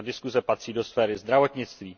Ta diskuze patří do sféry zdravotnictví.